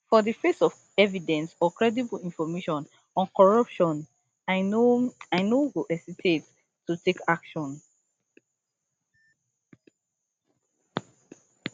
for di face of evidence or credible information on corruption i no i no go hesitate to take action